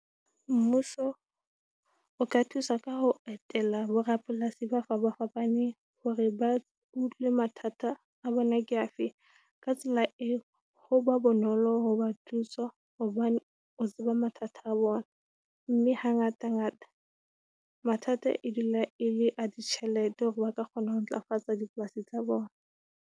Mmuso o ka thusa ka ho etela borapolasi ba fapafapane hore ba utlwe mathata a bona ke a fe, ka tsela eo ho ba bonolo ho ba thusa hobane o tseba mathata a bona, mme ha ngatangata mathata e dula e le a ditjhelete hore ba ka kgona ho ntlafatsa dipolasing tsa bona.